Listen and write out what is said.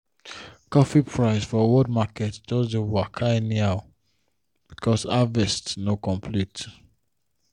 coffee price for world market just dey waka anyhow because harvest no complete.